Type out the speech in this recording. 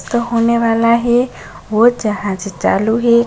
तो होने वाला हे वो जहाज चालू हे।